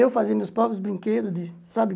Eu fazia meus próprios brinquedos de, sabe?